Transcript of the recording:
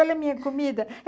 Olha a minha comida.